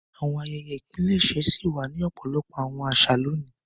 Àwọn àyẹ́yẹ́ ìpilẹṣẹ ṣi wà ni ọpọlọpọ àwọn àṣà loni.